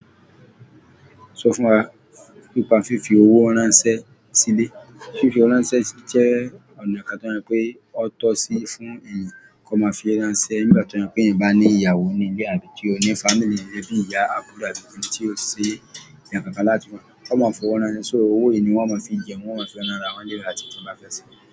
Sọ fún wa pípa fífi owó ránṣẹ́ sílẹ̀. Fífi owó ránṣẹ́ jẹ́ ọ̀nà kan tí wọ́n mọ̀ pé ó tọ́ sí fún èèyàn kí wọ́n máa fi ránṣẹ́. Nígbà tí wọ́n mọ̀ pé èèyàn bá ní ìyàwó ní ilé tàbí tí ó ní family bì-ìyá àbúrò tàbí ohun tí ó ṣi eyàn kan láti wá, wọ́n máa ń fowó ránṣẹ́. So owó yìí ni wọ́n máa ń fi jẹun, wọ́n máa ń fi rán àwọn ẹlẹ́rìí àti kí ń má fẹ́ ṣe.